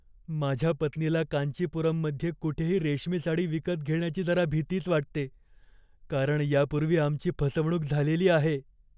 माझ्या पत्नीला कांचीपुरममध्ये कुठेही रेशमी साडी विकत घेण्याची जरा भितीच वाटते, कारण यापूर्वी आमची फसवणूक झालेली आहे.